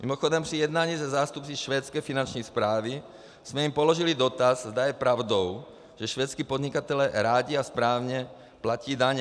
Mimochodem, při jednání se zástupci švédské finanční správy jsme jim položili dotaz, zda je pravdou, že švédští podnikatelé rádi a správně platí daně.